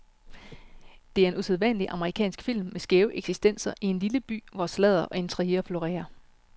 Det er en usædvanlig amerikansk film med skæve eksistenser i en lille by, hvor sladder og intriger florerer.